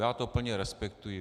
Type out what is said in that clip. Já to plně respektuji.